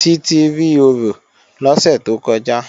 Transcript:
Títí rí orò lọ́sẹ̀ tó kọjá